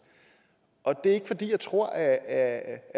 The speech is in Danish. og det er ikke fordi jeg tror at